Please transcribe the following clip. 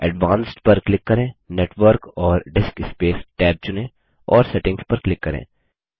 advanced पर click करें network और डिस्कस्पेस टैब चुनें और सेटिंग्स पर क्लिक करें